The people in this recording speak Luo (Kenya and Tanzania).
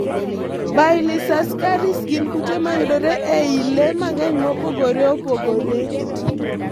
Baylisascaris gin kute mayudore e i le mang'eny mopogore opogore.